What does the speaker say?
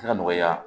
se ka nɔgɔya